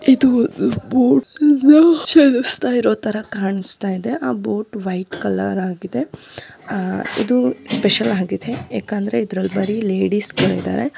ಇದು ಬೋಟ್ ನ ಚಲಾಯಿಸ್ತಾರೋ ತರಹ ಕಾಣುಸ್ತಿದೆ ಆ ಬೋಟ್ ವೈಟ್ ಕಲರ್ ಆಗಿದೆ ಆಹ್ ಇದು ಸ್ಪೆಷಲ್ ಆಗಿದೆ ಯಾಕಂದ್ರೆ ಇದರಲ್ಲಿ ಬರೀ ಲೇಡೀಸ್ಗಳು ಇದಾರೆ.